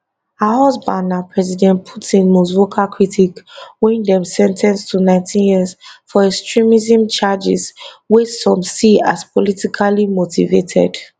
her husband na president putin most vocal critic wey dem sen ten ce to 19 years for extremism charges wey some see as politically motivated